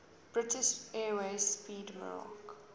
british airways 'speedmarque